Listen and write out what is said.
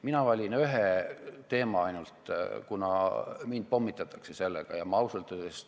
Mina valin ainult ühe teema, kuna sellega pommitatakse mind rohkem kui teistega.